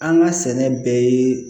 An ka sɛnɛ bɛɛ ye